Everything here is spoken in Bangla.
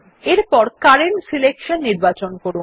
এরপর কারেন্ট সিলেকশন নির্বাচন করুন